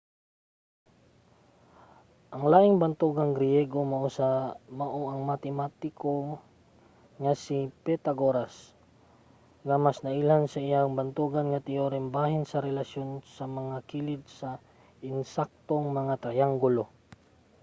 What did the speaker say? ang laing bantugang griyego mao ang matematiko nga si pythagoras nga mas nailhan sa iyang bantugan teyorem bahin sa relasyon sa mga kilid sa ensaktong mga triyanggulo